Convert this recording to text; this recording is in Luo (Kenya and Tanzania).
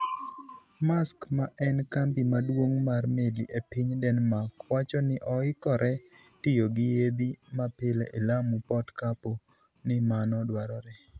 Maersk, ma en kambi maduong' mar meli e piny Denmark, wacho ni oikore tiyo gi yiedhi mapile e Lamu Port kapo ni mano dwarore.